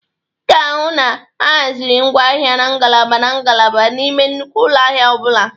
Ị ga-ahụ na ahazịrị ngwa ahịa na ngalaba na ngalaba n'ime nnukwu ụlọ ahịa ọ bụla.